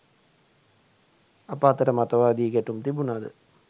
අප අතර මතවාදී ගැ‍ටුම් තිබුණද